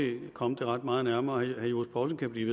komme det ret meget nærmere herre johs poulsen kan blive